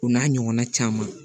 O n'a ɲɔgɔnna caman